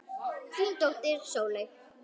Þín dóttir Sóley.